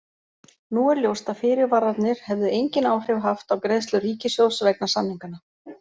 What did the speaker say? Nú er ljóst að fyrirvararnir hefðu engin áhrif haft á greiðslur ríkissjóðs vegna samninganna.